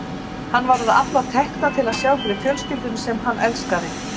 Hann var að afla tekna til að sjá fyrir fjölskyldunni sem hann elskaði.